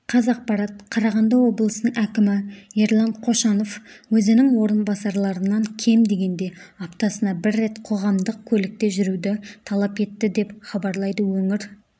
қазақпарат қарағанды облысының әкімі ерлан қошанов өзінің орынбасарларынан кем дегенде аптасына бір рет қоғамдық көлікте жүруді талап етті деп хабарлайды өңір